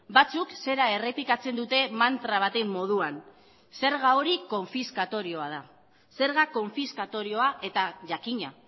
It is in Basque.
batzuk zera errepikatzen dute mantra baten moduan zerga hori konfiskatorioa da zerga konfiskatorioa eta jakina